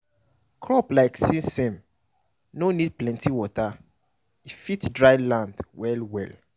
crop like sesame nor need plenty water - e fit dryland well well